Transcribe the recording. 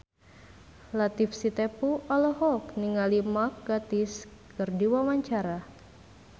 Latief Sitepu olohok ningali Mark Gatiss keur diwawancara